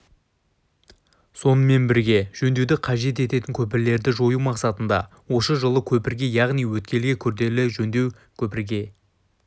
сонымен бірге жөндеуді қажет ететін көпірлерді жою мақсатында осы жылы көпірге яғни өткелге күрделі жөндеу көпірге